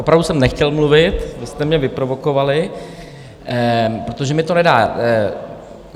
Opravdu jsem nechtěl mluvit, vy jste mě vyprovokovali, protože mi to nedá.